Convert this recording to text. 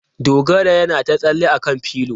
Dogara yana ta tsalle a kan pilo.